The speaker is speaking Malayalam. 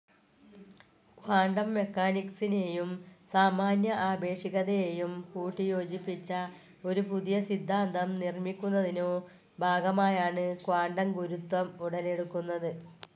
ക്വാണ്ടം മെക്കാനിക്സിനെയും സാമാന്യ ആപേക്ഷികതയെയും കൂട്ടിയോജിപ്പിച്ച ഒരു പുതിയസിദ്ധാന്തം നിർമിക്കുന്നതിനോ ഭാഗമായാണ് ക്വാണ്ടം ഗുരുത്വം ഉടലെടുക്കുന്നത്.